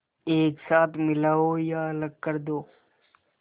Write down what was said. एक साथ मिलाओ या अलग कर दो